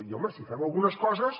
i home si fem algunes coses